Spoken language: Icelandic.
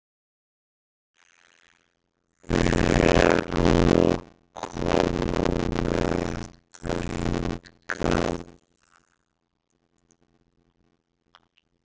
Við erum að koma með þetta hingað?